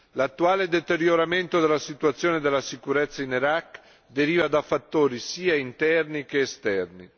L'attuale deterioramento della situazione della sicurezza in Iraq deriva da fattori sia interni che esterni.